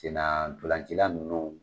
Sen na ntolan ci la nunnu